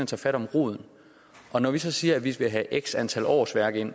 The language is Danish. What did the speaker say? tager fat om roden og når vi så siger at vi vil have x antal årsværk ind